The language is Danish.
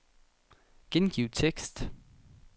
Gengiv tekst.